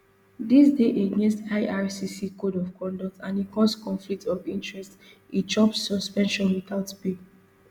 dis dey against ircc code of conduct and e cause conflict of interest e chop suspension witout pay